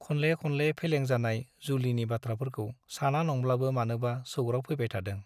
खनले खनले फेलें जानाय जुलिनि बाथ्राफोरखौ साना नंब्लाबो मानोबा सौग्राव फैबाय थादों ।